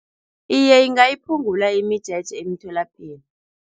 Iye, ingayiphungula imijeje emitholapilo.